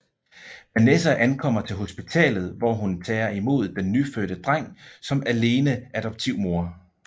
Vanessa ankommer til hospitalet hvor hun tager imod den nyfødte dreng som alene adoptivmor